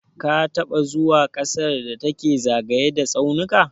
Ka taɓa zuwa ƙasar da take zagaye da tsaunuka?